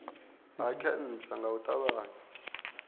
ha khentsa nga u ṱavhanya